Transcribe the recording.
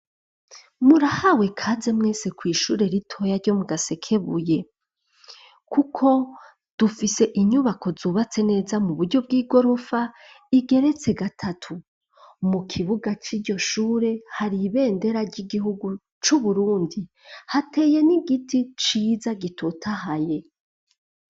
Murahawe kaze mwese kw'ishure ritoya ryo mu gasekebuye, kuko dufise inyubako zubatse neza mu buryo bw'i gorofa igeretse gatatu mu kibuga c'iryo shure hari ibendera ry'igihugu c'uburundi hateye n'igiti ciza gitota haye.